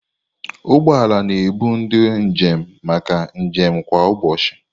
Ụgbọ ala na-ebu ndị njem maka njem kwa ụbọchị.